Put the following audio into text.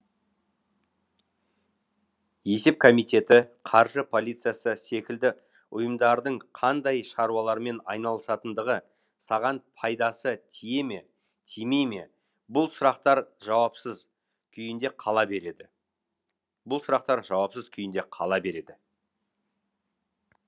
есеп комитеті қаржы полициясы секілді ұйымдардың қандай шаруалармен айналысатындығы саған пайдасы тие ме тимей ме бұл сұрақтар жауапсыз күйінде қала береді